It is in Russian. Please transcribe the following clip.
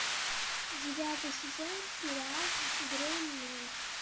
девятый сезон сериал грей мен